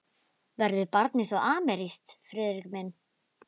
Verður barnið þá amerískt, Friðrik minn?